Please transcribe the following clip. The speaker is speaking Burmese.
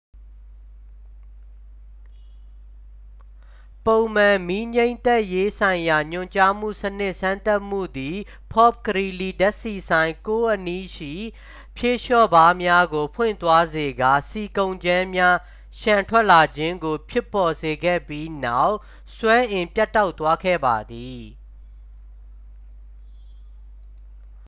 ပုံမှန် မီးငြှိမ်းသတ်ရေးဆိုင်ရာညွှန်ကြားမှုစနစ်စမ်းသပ်မှုသည် ဖော့ဖ်ဂရီးလီး ဓာတ်ဆီဆိုင် 9 အနီးရှိ ဖြေလျှော့ဗားများကို ပွင့်သွားစေကာ ဆီကုန်ကြမ်းများ လျှံထွက်လာခြင်းကို ဖြစ်ပေါ်စေခဲ့ပြီးနောက် စွမ်းအင်ပြတ်တောက်သွားခဲ့ပါသည်